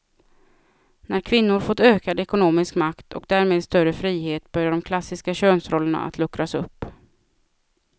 När kvinnor fått ökad ekonomisk makt och därmed större frihet börjar de klassiska könsrollerna att luckras upp.